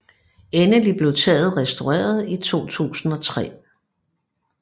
Endelig blev taget restaureret i 2003